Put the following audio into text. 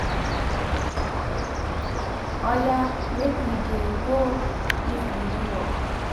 Oya make we dey go if e no work